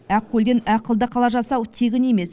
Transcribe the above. ақкөлден ақылды қала жасау тегін емес